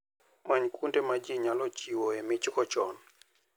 Many kuonde ma ji nyalo chiwoe michgo chon.